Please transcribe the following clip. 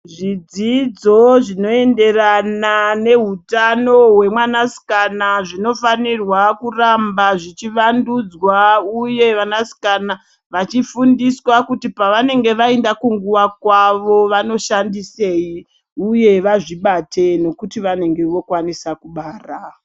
Zvidzidzo zvinoenderana nehutano hwemwanasikana zvinofanirwa kuramba zvichivandudzwa, uye vana sikana vachifundiswa kuti pavanenge vaenda kunguva kwavo vanoshandisei, uye vazvibate nekuti vanonge vokwanisa kubara.